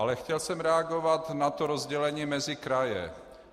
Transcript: Ale chtěl jsem reagovat na to rozdělení mezi kraje.